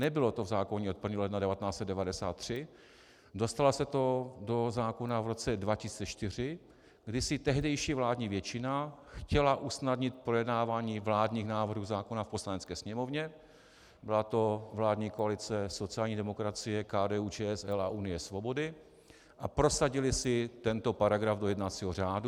Nebylo to v zákoně od 1. ledna 1993, dostalo se to do zákona v roce 2004, kdy si tehdejší vládní většina chtěla usnadnit projednávání vládních návrhů zákonů v Poslanecké sněmovně, byla to vládní koalice sociální demokracie, KDU-ČSL a Unie svobody, a prosadily si tento paragraf do jednacího řádu.